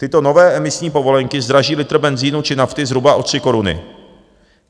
Tyto nové emisní povolenky zdraží litr benzínu či nafty zhruba o 3 koruny.